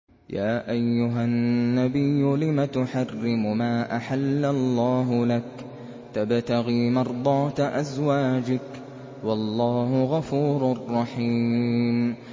يَا أَيُّهَا النَّبِيُّ لِمَ تُحَرِّمُ مَا أَحَلَّ اللَّهُ لَكَ ۖ تَبْتَغِي مَرْضَاتَ أَزْوَاجِكَ ۚ وَاللَّهُ غَفُورٌ رَّحِيمٌ